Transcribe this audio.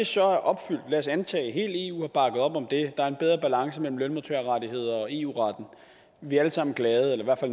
så er opfyldt lad os antage at hele eu har bakket op om det så er en bedre balance mellem lønmodtagerrettigheder og eu retten vi er alle sammen glade eller i